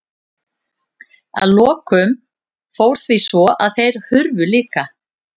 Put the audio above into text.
Að lokum fór því svo að þeir hurfu líka.